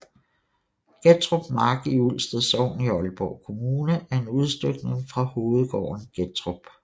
Gettrup Mark i Ulsted Sogn i Aalborg Kommune er en udstykning fra hovedgården Gettrup